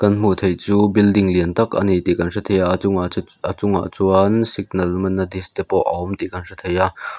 hmuh theih chu building lian tak a ni tih kan hre thei a a chhungah chu a chungah chuan signal man na disk te pawh a awm tih kan hrethei a.